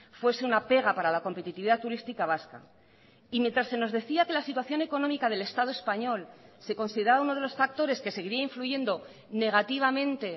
fuese una pega para la competitividad turística vasca y mientras se nos decía que la situación económica del estado español se consideraba uno de los factores que seguiría influyendo negativamente